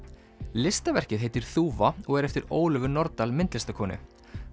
listaverkið heitir þúfa og er eftir Ólöfu Nordal myndlistarkonu